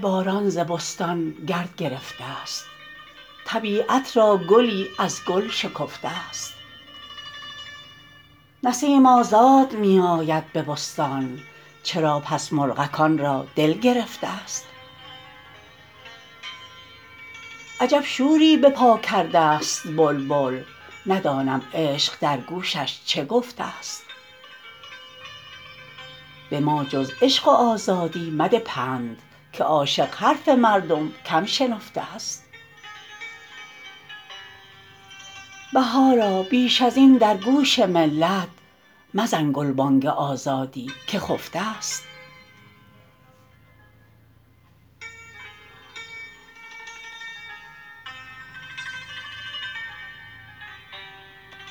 باران ز بستان گرد رفته است طبیعت را گلی از گل شکفته است نسیم آزاد می آید به بستان چرا پس مرغکان را دل گرفته است عجب شوری بپاکردست بلبل ندانم عشق در گوشش چه گفته است به ما جز عشق و آزادی مده پند که عاشق حرف مردم کم شنفته است بهارا بیش ازبن درگوش ملت مزن گلبانگ آزادی که خفته است